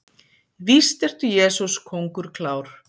Víst ertu, Jesús, kóngur klár.